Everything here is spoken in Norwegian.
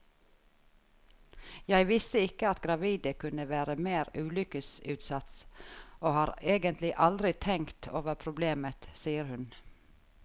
Jeg visste ikke at gravide kunne være mer ulykkesutsatt, og har egentlig aldri tenkt over problemet, sier hun.